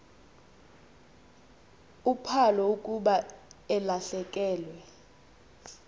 uphalo akuba elahlekelwe